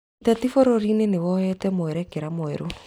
Ũteti bũrũrinĩ nĩwoete mwerekera mwerũ.